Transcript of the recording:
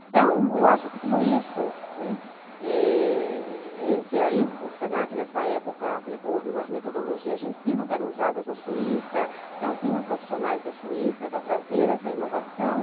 Então, eu acho que tudo isso, né, é... que aí o se na que nessa época aplicou algumas metodologias de ensino que eram usadas na Suíça, então vinham profissionais da Suíça para trazer essa inovação.